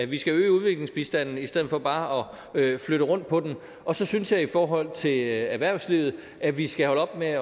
vi skal øge udviklingsbistanden i stedet for bare at flytte rundt på den og så synes jeg i forhold til erhvervslivet at vi skal holde op med